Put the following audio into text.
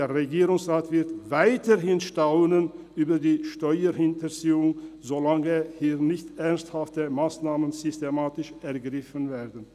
Der Regierungsrat wird weiterhin staunen über die Steuerhinterziehung, solange hier nicht systematisch ernsthafte Massnahmen ergriffen werden.